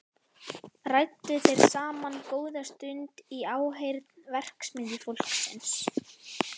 Ræddu þeir saman góða stund í áheyrn verksmiðjufólksins.